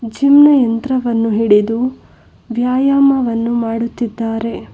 Gym ನ ಯಂತ್ರವನ್ನು ಹಿಡಿದು ವ್ಯಾಯಾಮವನ್ನು ಮಾಡುತ್ತಿದ್ದಾರೆ.